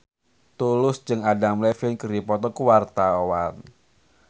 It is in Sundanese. Tulus jeung Adam Levine keur dipoto ku wartawan